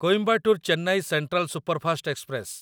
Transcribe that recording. Coimbatore Chennai central superfast express